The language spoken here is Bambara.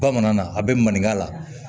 Bamanan na a bɛ maninka la